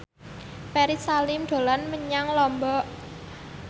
Ferry Salim dolan menyang Lombok